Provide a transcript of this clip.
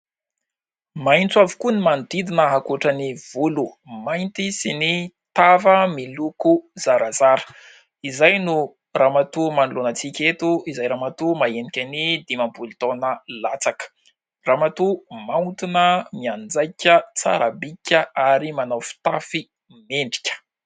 Maitso avokoa ny manodidina ankoatra ny volo mainty sy ny tava miloko zarazara, izay no ramatoa manoloanan-tsika eto izay ramatoa mahahenika ny dimampolo taona latsaka, ramatoa maontina, mianjaika, tsara bika ary manao fitafy mendrika.